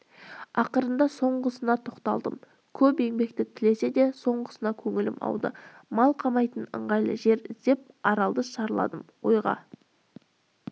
ақырында соңғысына тоқталдым көп еңбекті тілесе де соңғысына көңілім ауды мал қамайтын ыңғайлы жер іздеп аралды шарладым ойға